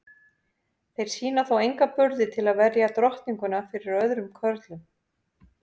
Þeir sýna þó enga burði til að verja drottninguna fyrir öðrum körlum.